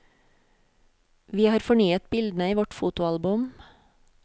Vi har fornyet bildene i vårt fotoalbum.